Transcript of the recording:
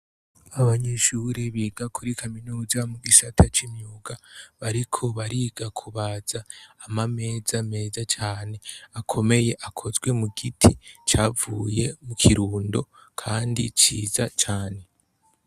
Abanyeshure biga kuri kaminuza mugisata c' imyuga bariko bariga kubaza amameza meza cane akomeye akozwe mugiti cavuye mu Kirundo kandi ciza cane.